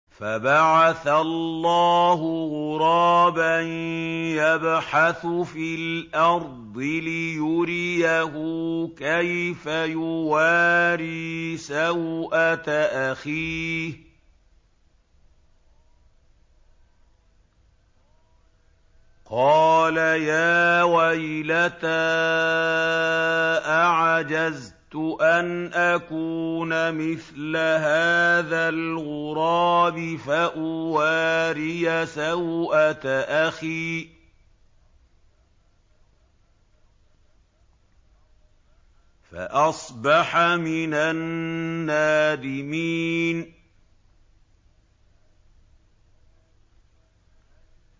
فَبَعَثَ اللَّهُ غُرَابًا يَبْحَثُ فِي الْأَرْضِ لِيُرِيَهُ كَيْفَ يُوَارِي سَوْءَةَ أَخِيهِ ۚ قَالَ يَا وَيْلَتَا أَعَجَزْتُ أَنْ أَكُونَ مِثْلَ هَٰذَا الْغُرَابِ فَأُوَارِيَ سَوْءَةَ أَخِي ۖ فَأَصْبَحَ مِنَ النَّادِمِينَ